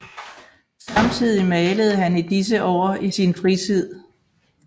Samtidig malede han i disse år i sin fritid